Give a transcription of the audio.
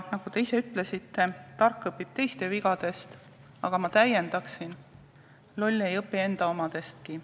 Nagu te ise ütlesite, tark õpib teiste vigadest, aga ma täiendan, et loll ei õpi enda omadestki.